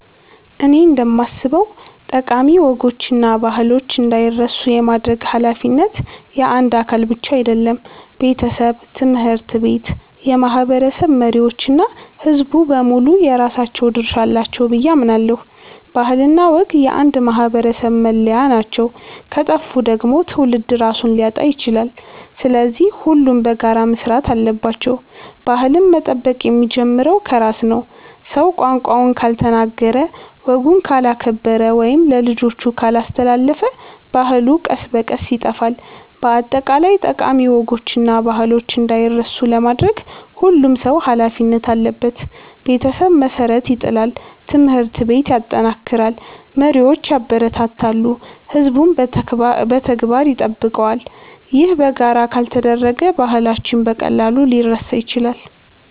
እኔ እንደማስበው ጠቃሚ ወጎችና ባህሎች እንዳይረሱ የማድረግ ኃላፊነት የአንድ አካል ብቻ አይደለም። ቤተሰብ፣ ትምህርት ቤት፣ የማህበረሰብ መሪዎች እና ሕዝቡ በሙሉ የራሳቸው ድርሻ አላቸው ብዬ አምናለሁ። ባህልና ወግ የአንድ ማህበረሰብ መለያ ናቸው፤ ከጠፉ ደግሞ ትውልድ ራሱን ሊያጣ ይችላል። ስለዚህ ሁሉም በጋራ መስራት አለባቸው። ባህልን መጠበቅ የሚጀምረው ከራስ ነው። ሰው ቋንቋውን ካልተናገረ፣ ወጉን ካላከበረ ወይም ለልጆቹ ካላስተላለፈ ባህሉ ቀስ በቀስ ይጠፋል። በአጠቃላይ ጠቃሚ ወጎችና ባህሎች እንዳይረሱ ለማድረግ ሁሉም ሰው ኃላፊነት አለበት። ቤተሰብ መሠረት ይጥላል፣ ትምህርት ቤት ያጠናክራል፣ መሪዎች ያበረታታሉ፣ ሕዝቡም በተግባር ይጠብቀዋል። ይህ በጋራ ካልተደረገ ባህላችን በቀላሉ ሊረሳ ይችላል።